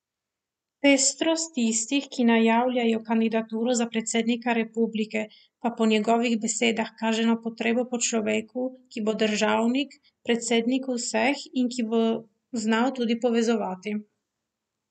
Pestrost tistih, ki najavljajo kandidaturo za predsednika republike, pa po njegovih besedah kaže na potrebo po človeku, ki bo državnik, predsednik vseh in ki bo znal tudi povezovati.